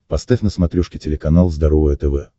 поставь на смотрешке телеканал здоровое тв